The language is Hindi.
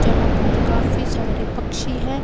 जहां पर काफी सारे पक्षी हैं।